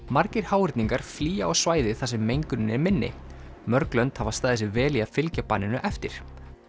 margir háhyrningar flýja á svæði þar sem mengunin er minni mörg lönd hafa staðið sig vel í að fylgja banninu eftir